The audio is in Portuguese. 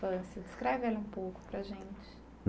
descreve ela um pouco para a gente.